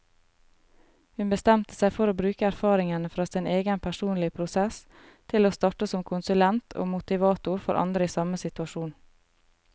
Hun bestemte seg for å bruke erfaringene fra sin egen personlige prosess til å starte som konsulent og motivator for andre i samme situasjon.